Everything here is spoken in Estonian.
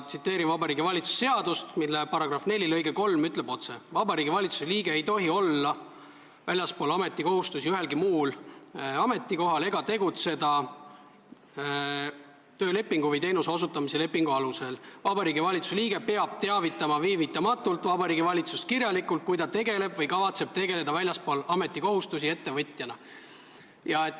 Vabariigi Valitsuse seaduse § 4 lõige 3 ütleb otse, et Vabariigi Valitsuse liige ei tohi olla väljaspool ametikohustusi ühelgi muul ametikohal ega tegutseda töölepingu või teenuste osutamise lepingu alusel ning Vabariigi Valitsuse liige peab teavitama viivitamata Vabariigi Valitsust kirjalikult, kui ta tegeleb või kavatseb tegeleda väljaspool ametikohustusi ettevõtjana.